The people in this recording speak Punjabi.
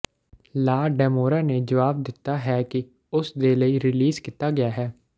ਲਾ ਡੈਮੋਰਾ ਨੇ ਜਵਾਬ ਦਿੱਤਾ ਹੈ ਕਿ ਉਸ ਦੇ ਲਈ ਰਿਲੀਜ਼ ਕੀਤਾ ਗਿਆ ਹੈ